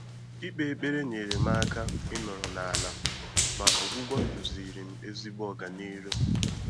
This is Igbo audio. Íkpé ékpèré nyèrè m áká ị́nọ́rọ́ n’álá, mà ọ́gwụ́gwọ́ dùzìrì m n’ézìgbo ọganihu.